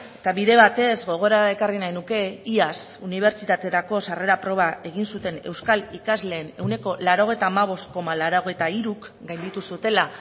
eta bide batez gogora ekarri nahi nuke iaz unibertsitaterako sarrera proba egin zuten euskal ikasleen ehuneko laurogeita hamabost koma laurogeita hiruk gainditu zutela